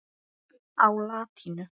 á latínu.